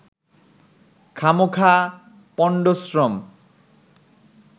খামোখা পন্ডশ্রম